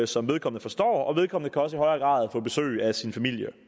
som vedkommende forstår og vedkommende kan også i højere grad få besøg af sin familie og